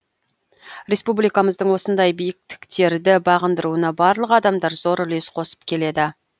республикамыздың осындай биіктіктерді бағындыруына барлық адамдар зор үлес қосып келеді